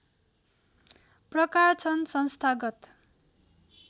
प्रकार छन् संस्थागत